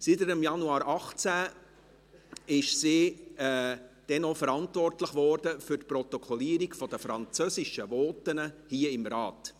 Seit Januar 2018 ist sie verantwortlich für die Protokollierung der französischen Voten hier im Rat.